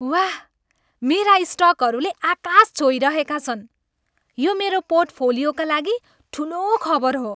वाह, मेरा स्टकहरूले आकाश छोइरहेका छन्! यो मेरो पोर्टफोलियोका लागि ठुलो खबर हो।